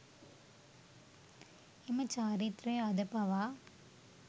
එම චාරිත්‍රය අද පවා